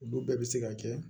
Olu bɛɛ bɛ se ka kɛ